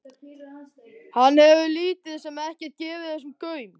Hann hefur lítið sem ekkert gefið þessu gaum.